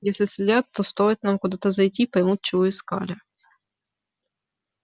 если следят то стоит нам куда-то зайти поймут чего искали